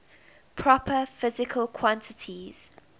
proper physical quantities